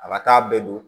A ka taa bɛɛ don